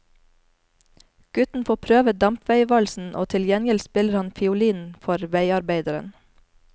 Gutten får prøve dampveivalsen og til gjengjeld spiller han fiolin for veiarbeideren.